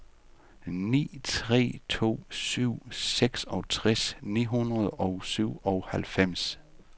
ni tre to syv seksogtres ni hundrede og syvoghalvfems